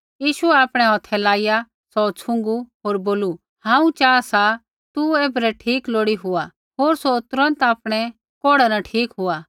यीशुऐ आपणै हौथै लाइया सौ छ़ुँगू होर बोलू हांऊँ च़ाहा सा तू ऐबरै ठीक लोड़ी हुआ होर सौ तुरन्त आपणै कोढ़ा न ठीक हुआ